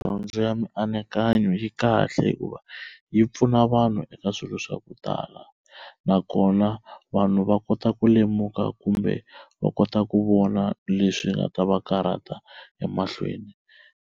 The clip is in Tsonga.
Dyondzo ya mianakanyo yi kahle hikuva yi pfuna vanhu eka swilo swa ku tala, nakona vanhu va kota ku lemuka kumbe va kota ku vona leswi nga ta va karhata emahlweni.